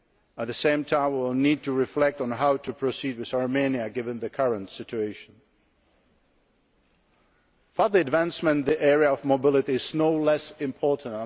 At the same time we will need to reflect on how to proceed with Armenia given the current situation. Further advancement in the area of mobility is no less important.